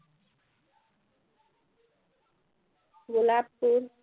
গোলাপ ফুল